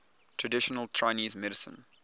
traditional chinese medicine